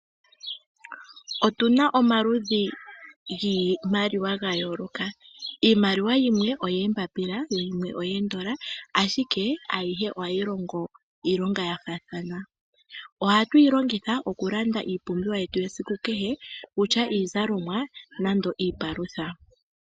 Otuna omaludhi giimaliwa ga yooloka. Iimaliwa yimwe oyee mbapila, yimwe oyee dola, ashike a yihe ohayi longo iilonga ya faathana. Ohatu yi longitha okulanda iipumbwiwa yetu ye siku kehe, okutya iizalomwa nenge iipalutha.